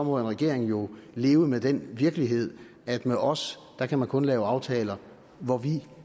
må en regering jo leve med den virkelighed at med os kan man kun lave aftaler hvor vi